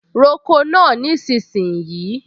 Roko náà nísinsìnyí!